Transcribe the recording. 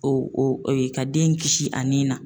O oo ka den kisi a nin na.